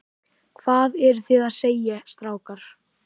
Hvað eruð þið að segja, strákar?